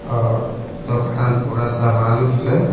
और दुकान पूरा सामान से--